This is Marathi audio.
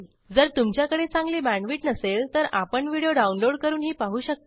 जर तुमच्याकडे चांगली बॅण्डविड्थ नसेल तर आपण व्हिडिओ डाउनलोड करूनही पाहू शकता